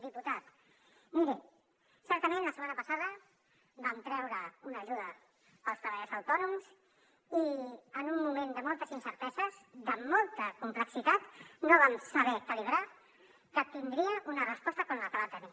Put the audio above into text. diputat miri certament la setmana passada vam treure una ajuda pels treballadors autònoms i en un moment de moltes incerteses de molta complexitat no vam saber calibrar que tindria una resposta com la que va tenir